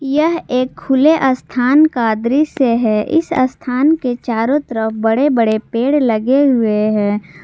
यह एक खुले अस्थान का दृश्य से है इस अस्थान के चारों तरफ बड़े बड़े पेड़ लगे हुए हैं।